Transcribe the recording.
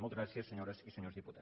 moltes gràcies senyores i senyors diputats